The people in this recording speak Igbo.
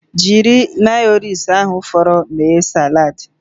Jiri mayonaisi ahụ fọrọnu mee salad